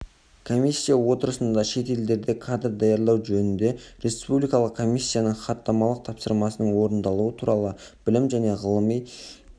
комиссия отырысында шет елдерде кадр даярлау жөніндегі республикалық комиссияның хаттамалық тапсырмасының орындалуы туралы білім және ғылым